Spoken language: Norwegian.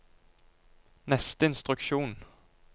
neste instruksjon